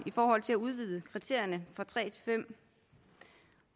i forhold til at udvide kriterierne fra tre til fem